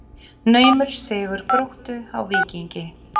Naumur sigur Gróttu á Víkingi